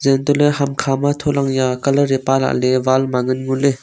zeh antoh ley hamkha ma thola ya tai a.